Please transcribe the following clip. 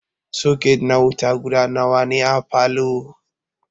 Soket na wuta guda nawa ne a falow?